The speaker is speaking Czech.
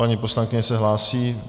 Paní poslankyně se hlásí.